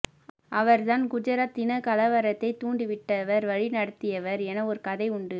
அவர் தான் குஜராத் இனகலவரத்தை தூண்டிவிட்டவர் வழிநடத்தியவர் என ஒரு கதை உண்டு